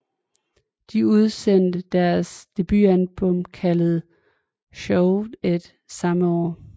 De udsendte deres debutalbum kaldet Shove It samme år